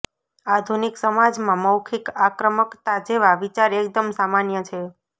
આધુનિક સમાજમાં મૌખિક આક્રમકતા જેવા વિચાર એકદમ સામાન્ય છે